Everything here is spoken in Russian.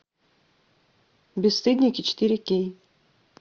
бесстыдники четыре кей